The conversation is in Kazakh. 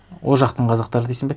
ол жақтың қазақтары дейсің бе